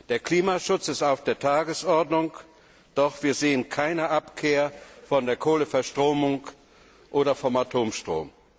Der Klimaschutz steht auf der Tagesordnung, doch wir sehen keine Abkehr von der Kohleverstromung oder vom Atomstrom.